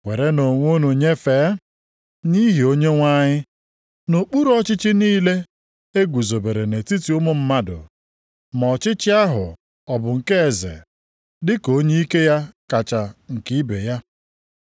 Werenụ onwe unu nyefee, nʼihi Onyenwe anyị, nʼokpuru ọchịchị niile e guzobere nʼetiti ụmụ mmadụ, ma ọchịchị ahụ ọ bụ nke eze, dịka onye ike ya kacha nke ibe ya,